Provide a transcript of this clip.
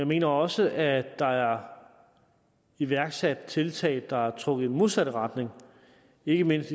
mener også at der er iværksat tiltag der har trukket i den modsatte retning ikke mindst